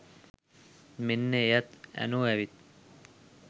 මෙන්න එයත් ඇනෝ ඇවිත්